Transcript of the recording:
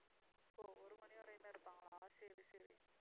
ஓ ஒரு மணி வரையும் தான் இருப்பாங்களா சரி, சரி